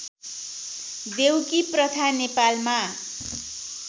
देउकी प्रथा नेपालमा